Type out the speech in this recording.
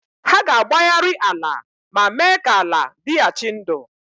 Ha ga-agbagharị ala ma mee ka ala dịghachi ndụ.